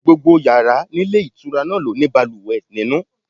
Gbogbo yàrá nílé ìtura náà ló ní balùwẹ̀ nínú.